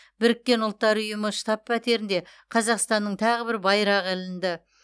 біріккен ұлттар ұйымы штаб пәтерінде қазақстанның тағы бір байрағы ілінді